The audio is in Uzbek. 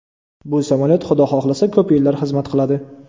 Bu samolyot Xudo xohlasa ko‘p yillar xizmat qiladi.